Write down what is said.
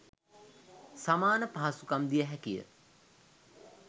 සමාන පහසුකම් දිය හැකිය.